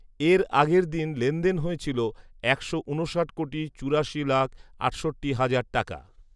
এর আগের দিন লেনদেন হয়েছিল একশো ঊনষাট কোটি চুরাশি লাখ আটষট্টি হাজার টাকা